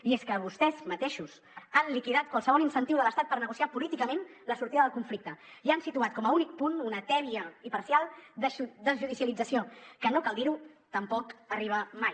i és que vostès mateixos han liquidat qualsevol incentiu de l’estat per negociar políticament la sortida del conflicte i han situat com a únic punt una tèbia i parcial desjudicialització que no cal dir ho tampoc arriba mai